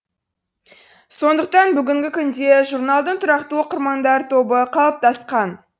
сондықтан бүгінгі күнде журналдың тұрақты оқырмандар тобы қалыптасқан